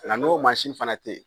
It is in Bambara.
n'o mansin fana tɛ ye.